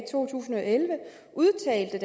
to tusind og elleve udtalte